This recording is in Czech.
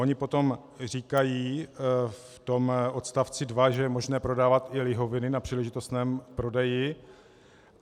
Ony potom říkají v tom odst. 2, že je možné prodávat i lihoviny na příležitostném prodeji.